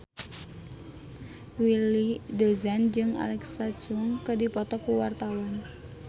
Willy Dozan jeung Alexa Chung keur dipoto ku wartawan